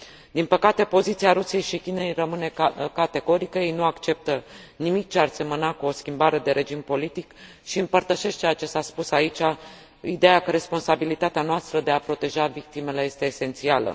Din păcate, poziția Rusiei și Chinei rămâne categorică, ei nu acceptă nimic ce ar semăna cu o schimbare de regim politic și împărtășesc ceea ce s a spus aici, ideea că responsabilitatea noastră de a proteja victimele este esențială.